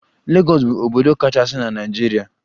Legọs bu obodo kachasi na Naijiria.